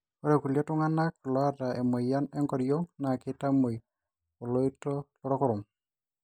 ore kulie tunganak loota emoyian enkoriong naa keitamoi oloita lorkurum